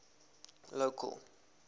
local